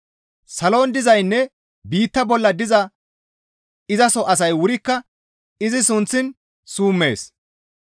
Salon dizaynne biitta bolla diza izaso asay wurikka izi sunththiin summees.